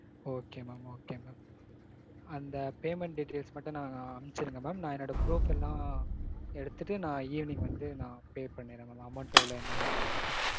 Okay mam okay mam. அந்த payment details மட்டும் நா அனுப்பிச்சு விடுங்க mam. நா என்னோட proofs எல்லாம் எடுத்துட்டு நா evening வந்து நா pay பண்ணிட்றேன் mam amount எவ்ளோ என்னென்னு சொல்லிட்டு.